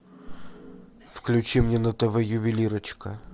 включи мне на тв ювелирочка